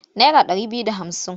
Nara ɗari biyu da hamsin.